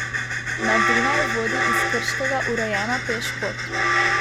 Na Dunaj vodi iz Krškega urejena pešpot.